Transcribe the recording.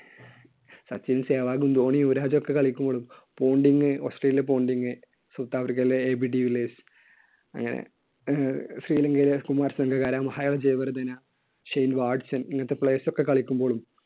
സച്ചിൻ, സെവാഗും ധോണി, യുവരാജ് ഒക്കെ കളിക്കുമ്പോഴും പോണ്ടിംഗ്, ഓസ്ട്രേലിയയുടെ പോണ്ടിംഗ് സൗത്ത് ആഫ്രിക്കയിലെ അങ്ങനെ അഹ് ശ്രീലങ്കയിലെ കുമാർ സംഗക്കാര മഹാല ജയവർധന, ഷെയ്ൻ വാട്സൺ അങ്ങനത്തെ players ഒക്കെ കളിക്കുമ്പോഴും